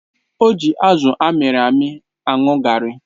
O ji azụ amịrị amị aṅụ garri.